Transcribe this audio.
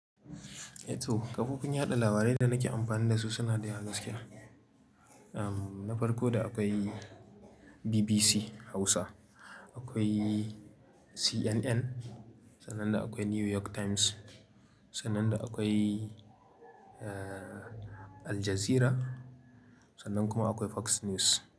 Eh to kafofin yaɗa labarai da nake amfani da su suna da ya gaskiya. Na farko da akwai BBC Hausa, akwai CNN, sannan akwai New York Times, sannan akwai, Al Jazeera, sannan kuma akwai Fox News.